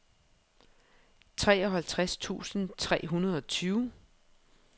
treoghalvtreds tusind tre hundrede og tyve